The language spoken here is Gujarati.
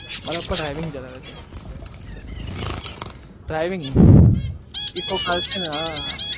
મારા પપ્પા sorry driving કરે છે driving eco car છે ને